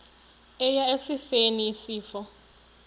eya esifeni isifo